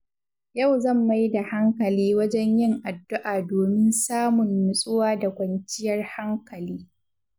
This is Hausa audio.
Yau zan mai da hankali wajen yin addu’a domin samun natsuwa da kwanciyar hankali.